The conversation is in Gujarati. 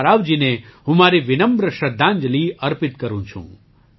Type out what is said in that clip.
રામારાવજીને હું મારી વિનમ્ર શ્રદ્ધાંજલિ અર્પિત કરું છું